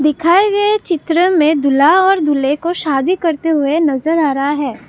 दिखाए गए चित्र में दूल्हा और दूल्हे को शादी करते हुए नजर आ रहा है।